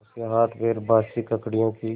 उसके हाथपैर बासी ककड़ियों की